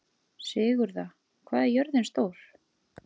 Sigurða, hvað er jörðin stór?